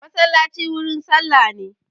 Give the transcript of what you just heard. Masallaci wurin sallah ne